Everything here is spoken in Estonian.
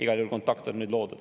Igal juhul kontakt on nüüd loodud.